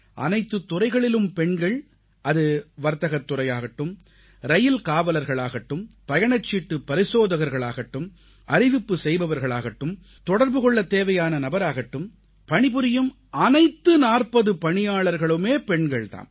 அனைத்துத் துறைகளிலும் பெண்கள் அது வர்த்தகத் துறையாகட்டும் ரயில்காவலர்களாகட்டும் பயணச்சீட்டுப் பரிசோதகர்களாகட்டும் அறிவிப்பு செய்பவர்களாகட்டும் தொடர்பு கொள்ளத் தேவையான நபராகட்டும் பணிபுரியும் அனைத்து 40 பணியாளர்களுமே பெண்கள் தாம்